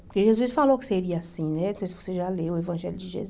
Porque Jesus falou que seria assim, né então você já leu o Evangelho de Jesus.